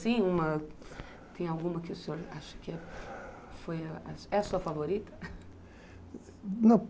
Tem alguma que o senhor acha que é sua favorita?